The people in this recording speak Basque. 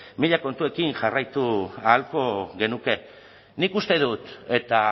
mila kontuekin jarraitu ahalko genuke nik uste dut eta